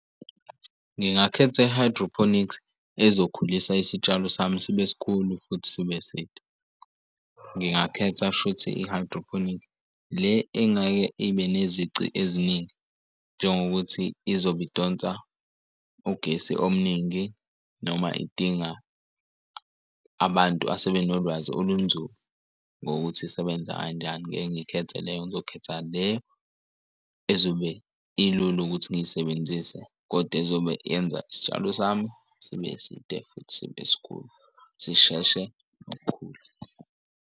Ngingakhetha i-hydroponics ezokhulisa isitshalo sami sibe sikhulu futhi sibe side. Ngingakhetha shuthi i-hydroponic le engeke ibe nezici eziningi njengokuthi izobe idonsa ugesi omningi noma idinga abantu asebenolwazi olunzulu ngokuthi isebenza kanjani. Ngeke ngikhethe leyo, ngizokhetha le ezobe ilula ukuthi ngiyisebenzise, kodwa ezobe yenza isitshalo sami sibe side futhi sibe sikhulu sisheshe ngokukhulu.